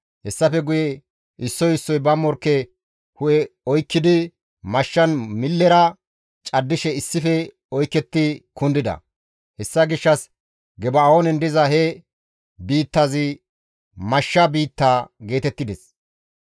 Hessafe guye issoy issoy ba morkke hu7e oykkidi mashshan millera caddishe issife oyketti kundida. Hessa gishshas Geba7oonen diza he biittazi, «Mashsha biitta» geetettides.